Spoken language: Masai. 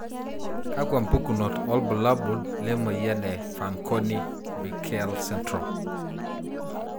Kakwa mpukunot wobulabul lemoyian e Fanconi Bickel syndrome?